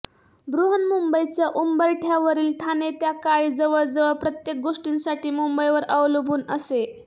बृहन्मुंबईच्या उंबरठयावरील ठाणे त्या काळी जवळजवळ प्रत्येक गोष्टीसाठी मुंबईवर अवलंबून असे